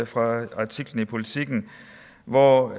fra artiklen i politiken hvor